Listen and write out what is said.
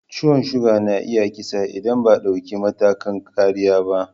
Ciwon suga na iya kisa idan ba a dauki matakan kariya ba.